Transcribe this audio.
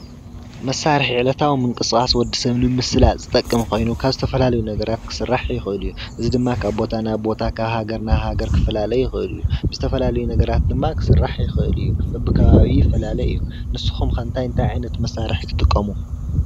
መሳርሒ ዕለታዊ ምንቅስቃስ ወዲሰብ ንምስላጥ ዝጠቅም ኮይኑ ካብ ዝተፈላልዩ ነገራት ክስራሕ ይኽእል እዩ ፤እዚ ድማ ካብ ቦታ ናብ ቦታ ካብ ሃገር ናብ ሃገር ክፈላለ ይኽእል እዩ፤ ዝተፈላልዩ ነገራት ድማ ክስራሕ ይኽእል እዩ፤ በቢ ከባቢኡ ይፈላለ እዩ። ንስኩም ኸ እንታይ እንታይ ዓይነት መሳርሒ ትጥቀሙ?